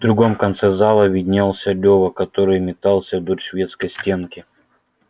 в другом конце зала виднелся лёва который метался вдоль шведской стенки